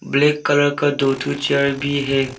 Black colour का दो ठो चेयर भी है।